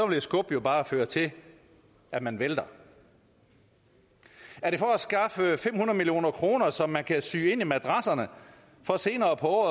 vil et skub jo bare føre til at man vælter er det for at skaffe fem hundrede million kr som man kan sy ind i madrasserne for senere på